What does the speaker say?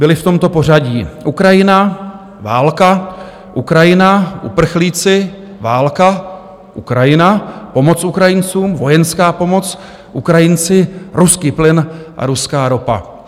Byly v tomto pořadí: Ukrajina - válka, Ukrajina - uprchlíci, válka, Ukrajina - pomoc Ukrajincům, vojenská pomoc, Ukrajinci - ruský plyn a ruská ropa.